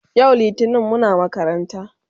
yau littani Muna makaranta